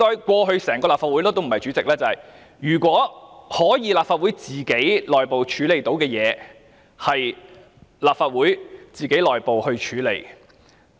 過去，在立法會發生的內部事情，如果主席或立法會可以自行處理，便會自行處理。